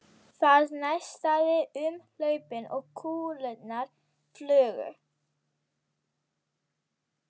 Það neistaði um hlaupin og kúlurnar flugu.